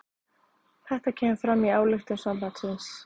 Þetta kemur fram í ályktun sambandsins